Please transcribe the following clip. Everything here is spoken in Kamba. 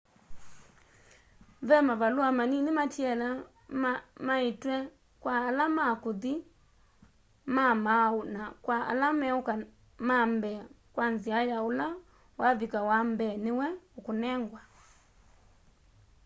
ve mavalua manini matiele maiitwe kwa ala ma kuthi ma mauu na kwa ala meuka ma mbee kwa nzia ya ula wavika wa mbee niwe ukunengwa